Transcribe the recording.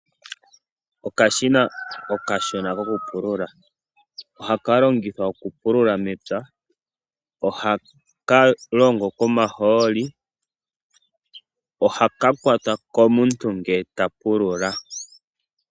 Okashina okashona kokupulula, oha ka longithwa okupulula mepya, ohaka longo komahooli ko oha ka kwatwa komuntu ngele ta pululà.